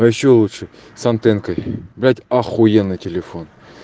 а ещё лучше с антенкой блять ахуенный телефон